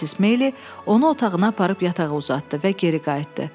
Missis Meyli onu otağına aparıb yatağa uzatdı və geri qayıtdı.